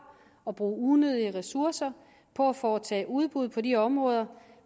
og bruge unødige ressourcer på at foretage udbud på de områder